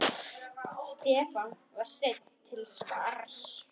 Stefán var seinn til svars.